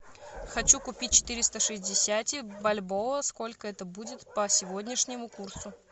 хочу купить четыреста шестьдесят бальбоа сколько это будет по сегодняшнему курсу